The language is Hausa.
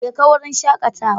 Jeka wurin shakatawa.